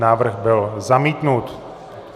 Návrh byl zamítnut.